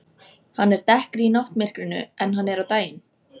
Hann er dekkri í náttmyrkrinu en hann er á daginn.